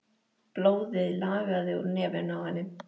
Blóðið lagaði úr nefinu á henni.